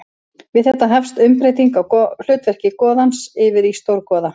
Við þetta hefst umbreyting á hlutverki goðans yfir í stórgoða.